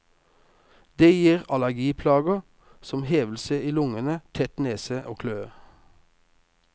Det gir allergiplager, som hevelse i lungene, tett nese og kløe.